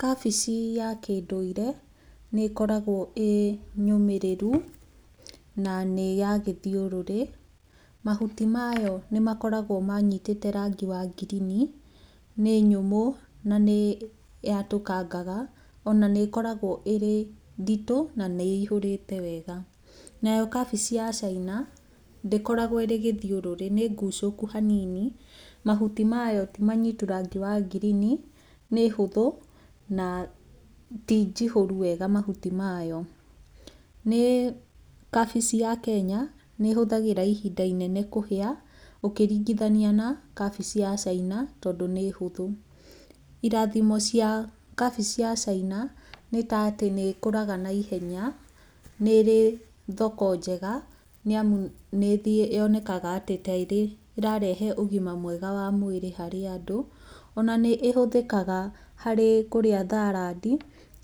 Kabĩci ya kĩndũire nĩ ĩkoragwo ĩnyũmĩrĩru na nĩ ya gĩthiũrũrĩ, mahuti mayo nĩmakoragwo manitĩte rangi wa ngirini, nĩ nyũmũ na nĩyatũkangaga ona nĩ ĩkoragwo ĩrĩ nditũ na nĩihũrĩte wega. Nayo kabĩci ya caina, ndĩkoragwo ĩrĩ gĩthiũrũrĩ, nĩngucũku hanini, mahuti mayo timanyitu rangi wa ngirini, nĩ hũthũ na tinjihũru wega mahuti mayo. Nĩ, kabĩci ya Kenya nĩ ĩhũthagĩra ihinda inene kũhĩa ũkĩringithania na kabĩci ya caina tondũ nĩ hũthũ. Irathimo cia kabĩci ya caina nĩ ta atĩ nĩ ĩkũraga na ihenya, nĩ ĩrĩ thoko njega, nĩ amũ nĩyonekaga ta ĩrarehe ũgima mwega wa mwĩrĩ harĩ andũ. Ona nĩ ũhũthĩkaga harĩ kũrĩa tharandi